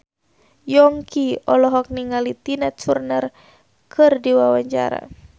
Yongki olohok ningali Tina Turner keur diwawancara